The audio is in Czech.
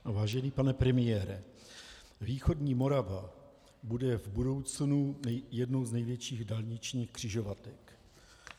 Vážený pane premiére, východní Morava buduje v budoucnu jednu z největších dálničních křižovatek.